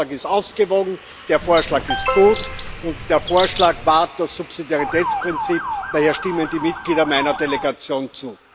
Der Vorschlag ist ausgewogen, der Vorschlag ist gut, und der Vorschlag wahrt das Subsidiaritätsprinzip daher stimmen die Mitglieder meiner Delegation zu.